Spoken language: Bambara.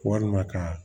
Walima ka